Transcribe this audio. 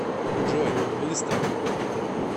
джой быстро